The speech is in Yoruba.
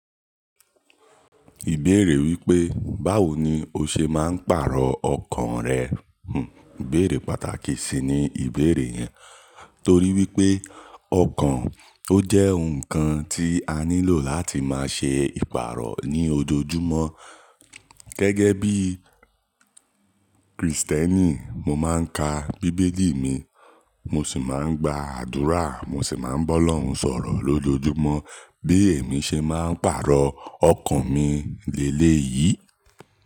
Ìbéèrè wípé, báwo ni o ṣe máa ń pàrọ̀ ọkàn rẹ? Hmm, ìbéèrè pàtàkì ṣi ni ìbéèrè yẹn. Torí wípé, ọkàn ó jẹ́ ǹkan tí a nílò láti máa ṣe ìpàrọ̀ ní ojoojúmọ́. Gẹ́gẹ́ bí Kristẹni, mo máa ń ka Bíbélì mi, mo sì máa ń gba àdúrà, mo sì máa ń bá Ọlọ́run sọ̀rọ̀ lójoojúmọ́. Bí èmi ṣe máa ń pàrọ̀ ọkàn mi ni éleyìí.